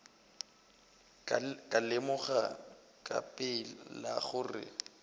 ka lemoga ka pela gore